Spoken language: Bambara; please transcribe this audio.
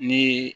Ni